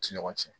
Ti ɲɔgɔn cɛ